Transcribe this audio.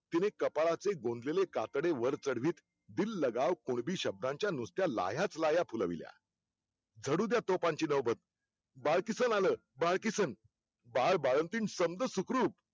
तिने कपाळाचे गोंदलेले कातडे वर चढवीत दिल लगावं कुणबी शब्दांच्या नुसत्या लाह्याच लाह्या फुलविल्या. झडूद्या तोफांची नौबत. बाळकिसन आलं बाळकिसन बाळबाळंतीण समद सुखरूप.